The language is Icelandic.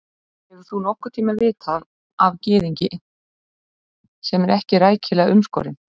Hefur þú nokkurn tíma vitað af gyðingi, sem er ekki rækilega umskorinn?